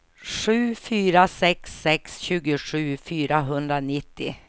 sju fyra sex sex tjugosju fyrahundranittio